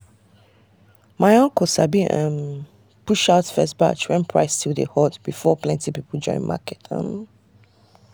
my uncle sabi rush um push out first batch when price still dey hot before plenty people join market. um